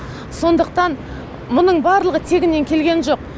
сондықтан мұның барлығы тегіннен келген жоқ